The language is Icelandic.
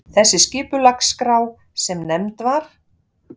Þessi skipulagsskrá, sem nefnd var